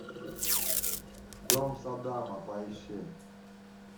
дом саддама поищи